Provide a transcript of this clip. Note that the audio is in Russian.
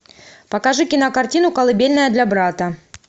покажи кинокартину колыбельная для брата